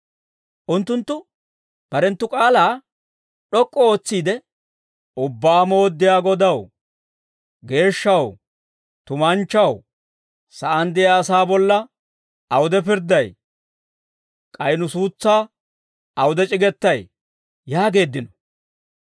Unttunttu barenttu k'aalaa d'ok'k'u ootsiide, «Ubbaa Mooddiyaa Godaw, geeshshaw, tumanchchaw, sa'aan de'iyaa asaa bolla awude pirdday? K'ay nu suutsaa awude c'igetay?» yaageeddino.